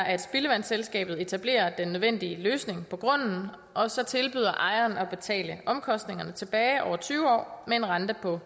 at spildevandsselskabet etablerer den nødvendige løsning på grunden og så tilbyder ejeren at betale omkostningerne tilbage over tyve år med en rente på